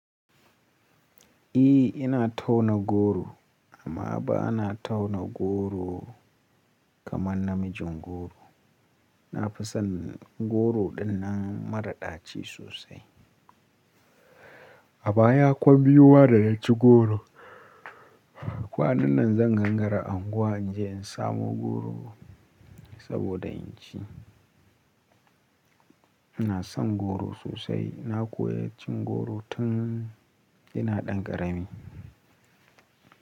Eh ina tauna goro amma ba ana tauna goro kamar namijin goro. Na fi son goro ɗin nan mara ɗaci sosai. Amma ya kwan biyu ma da na ci goro, kwanan nan zan gangara unguwa in je in samo goro saboda in ci. Ina son goro sosai, na koya cin goro tun ina ɗan ƙarami.